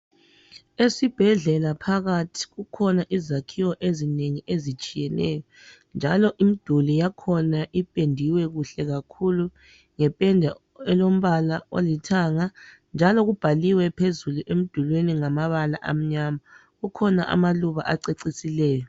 esibhedlela phakathi kukhona izakhiwo ezinengi njalo ezitshiyeneyo njalo imiduli yakhona ipendiwe kahle kakhulu ngependa elombala olithanga njalo kubhaliwe phezulu emdulini ngamabala amnyama kukhona amaluba acecisileyo